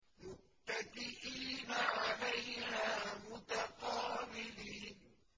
مُّتَّكِئِينَ عَلَيْهَا مُتَقَابِلِينَ